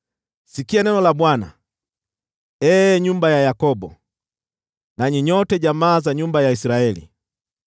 Sikia neno la Bwana , ee nyumba ya Yakobo, nanyi nyote jamaa za nyumba ya Israeli.